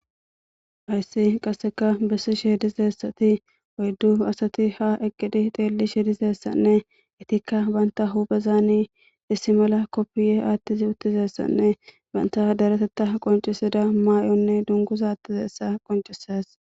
Hayssi qasseka bessishe dizayssi oyidu asati ha xelishe dizayisane banita hupheni kipiya wothidi dungguza mayidaytti uttidayssako.